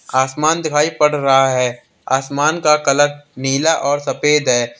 आसमान दिखाई पड़ रहा है। आसमान का कलर नीला और सफेद है।